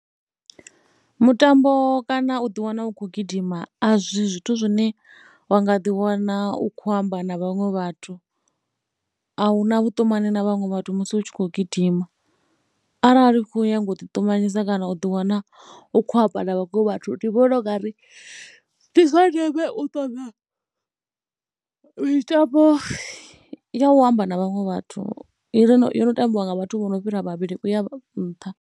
Mutambo kana u ḓiwana u khou gidima a si zwithu zwine wa nga ḓiwana u khou amba na vhaṅwe vhathu. A hu na vhuṱumani na vhaṅwe vhathu musi hu tshi khou gidima, arali khou nyaga u ḓiṱumanyisa kana u ḓiwana u khou amba na vhaṅwe vhathu ndi vhona u nga ri ndi zwa ndeme u ṱoḓa mitambo ya u amba na vhaṅwe vhathu, yo no tambiwa nga vhathu vho no fhira vhavhili u ya nṱha.